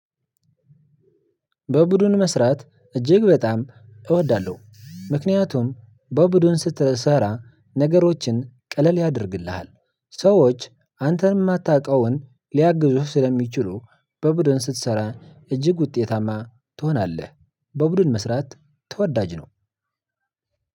በቡድን መስራት እጅግ በጣም እወዳለሁ። ምክንያቱም በቡድን ስትሰራ ነገሮችን ቀለል ያደርግልሃል። ሰዎች አንተን የማታውቀውን ሊያግዙህ ስለሚችሉ በቡድን ስትሰራ እጅግ ውጤታማ ትሆናለህ። በቡድን መስራት ተወዳጅ ነው።